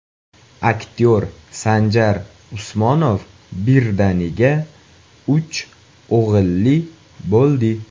Aktyor Sanjar Usmonov birdaniga uch o‘g‘illi bo‘ldi.